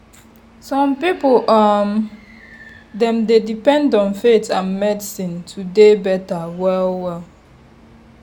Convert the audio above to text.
some people[um]dem dey depend on faith and medicine to dey better well-well.